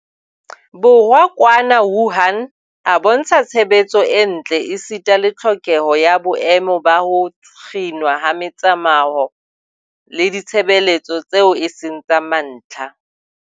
Borwa kwana Wuhan a bontsha tshebetso e ntle esita le tlhokeho ya boemo ba ho kginwa ha metsamao le ditshebeletso tseo e seng tsa mantlha.